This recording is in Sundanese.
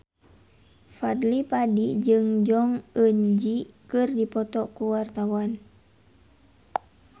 Fadly Padi jeung Jong Eun Ji keur dipoto ku wartawan